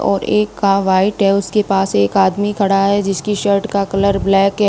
और एक का वाइट है और उसके पास एक आदमी खड़ा है जिसकी शर्ट का कलर ब्लैक है।